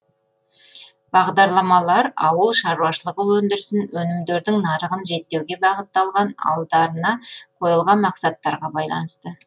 бағдарламалар ауыл шаруашылығы өндірісін өнімдердің нарығын реттеуге бағытталған алдарына қойылған мақсаттарға байланысты